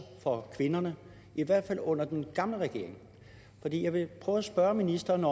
for kvinderne i hvert fald under den gamle regering jeg vil prøve at spørge ministeren